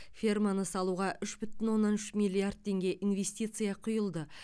ферманы салуға үш бүтін оннан үш миллиард теңге инвестиция құйылды